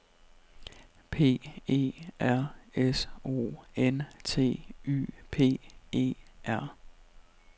P E R S O N T Y P E R